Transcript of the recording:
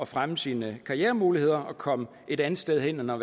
fremme sine karrieremuligheder og komme et andet sted hen og